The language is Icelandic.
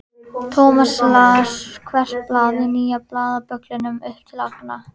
Thomas las hvert blað í nýja blaðabögglinum upp til agna.